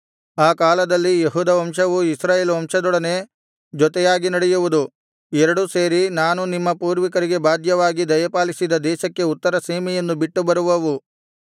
ಆ ಕಾಲದಲ್ಲಿ ಯೆಹೂದ ವಂಶವು ಇಸ್ರಾಯೇಲ್ ವಂಶದೊಡನೆ ಜೊತೆಯಾಗಿ ನಡೆಯುವುದು ಎರಡೂ ಸೇರಿ ನಾನು ನಿಮ್ಮ ಪೂರ್ವಿಕರಿಗೆ ಬಾಧ್ಯವಾಗಿ ದಯಪಾಲಿಸಿದ ದೇಶಕ್ಕೆ ಉತ್ತರ ಸೀಮೆಯನ್ನು ಬಿಟ್ಟು ಬರುವವು